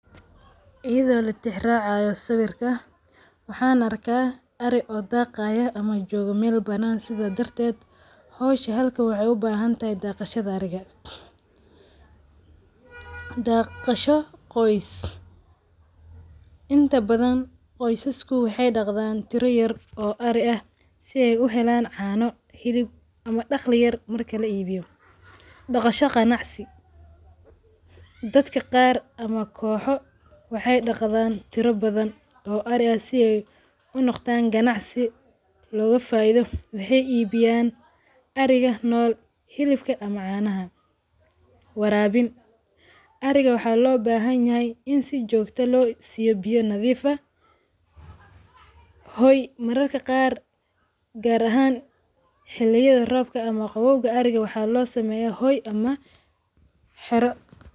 Iyadho latixi raacayo sawirka waaxan arka ari oo daagayo ama joogo meel banan sidha darteet hosha halka waxay ubahantahay daagishadha ariga. Dagasho qoys. Inta badhan qoysiska waxay dagadhan guri yaar oo ari aah si ay uhelaan; caano, xilib ama dagli yaar marki laa i biyo dagasho ganacsi. Dadka qaar ama kooxo waxay dagadhan tiro badhan oo ari aah si ay unogdan ganacsi loga faaidho waxay i biyan ariga nool, xilibka ama caanaha. Warabin, ariga waxa loo bahanyahy in si joogto loo siyo biyo nadhif aah hooy mararka qaar gaar ahaan xiliyadha roobka ama gawooga ariga waxa loo sameya hooy ama xaaro.